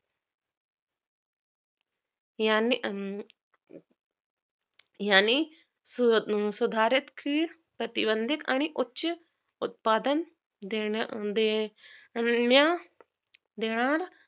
यांने हम्म यांनी सुधारित की प्रतिबंधित आणि उच्च उत्पादन देण देण्या देणार